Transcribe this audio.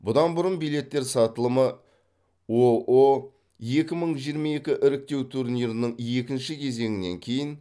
бұдан бұрын билеттер сатылымы оо екі мың жиырма екі іріктеу турнирінің екінші кезеңінен кейін